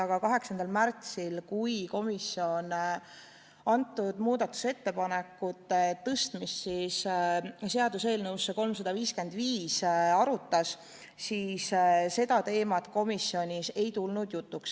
Aga 8. aprillil, kui komisjon arutas muudatusettepanekute tõstmist seaduseelnõusse 355, ei tulnud see teema komisjonis jutuks.